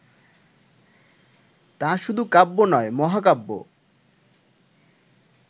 তা শুধু কাব্য নয়, মহাকাব্য